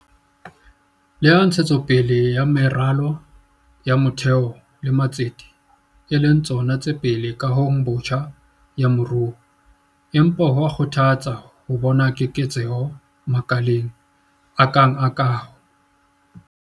Leha ntshetso pele ya meralo ya motheo le matsete e le tsona tse pele kahong botjha ya moruo, empa ho a kgothatsa ho bona keketseho makaleng a kang la kaho.